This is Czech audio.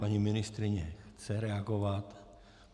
Paní ministryně chce reagovat.